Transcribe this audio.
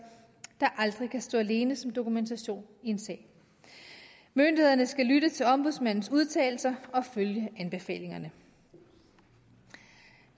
der aldrig kan stå alene som dokumentation i en sag myndighederne skal lytte til ombudsmandens udtalelser og følge anbefalingerne det